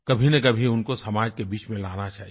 कभी न कभी उनको समाज के बीच में लाना चाहिए